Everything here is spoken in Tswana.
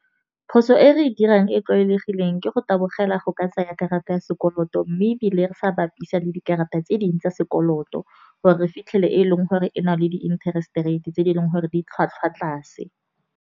Phoso e re dirang e tlwaelegileng ke go tabogela go ka tsaya karata ya sekoloto. Mme ebile re sa bapisa le dikarata tse dingwe tsa sekoloto, gore re fitlhele e leng gore e na le di-interest rate tse e leng gore di tlhwatlhwa tlase.